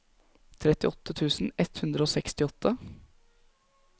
trettiåtte tusen ett hundre og sekstiåtte